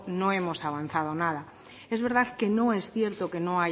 no hemos avanzado nada es verdad que no es cierto que no